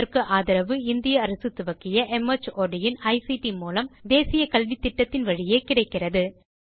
இதற்கு ஆதரவு இந்திய அரசு துவக்கிய மார்ட் இன் ஐசிடி மூலம் தேசிய கல்வித்திட்டத்தின் வழியே கிடைக்கிறது